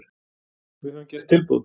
Við höfum gert tilboð.